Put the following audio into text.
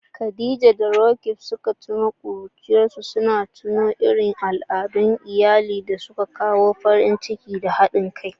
Khadija da Roqeeb suka tuno da ƙuruciyarsu, suna tuno irin al'adun iyali da suka kawo farin ciki da haɗin kai.